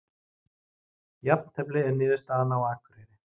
Jafntefli er niðurstaðan á Akureyri